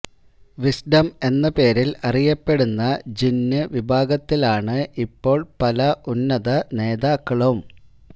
wisdom എന്ന പേരില് അറിയപ്പെടുന്ന ജിന്ന് വിഭാഗത്തിലാണ് ഇപ്പോള് പല ഉന്നത നേതാക്കളും